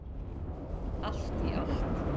Allt í allt.